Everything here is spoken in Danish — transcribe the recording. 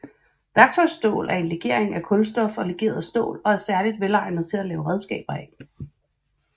Værktøjsstål er en legering af kulstof og legeret stål og er særligt velegnet til at lave redskaber af